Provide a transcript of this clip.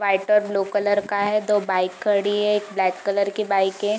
White और blue colour का है दो बाइक खड़ी है एक ब्लैक कलर की बाइक है।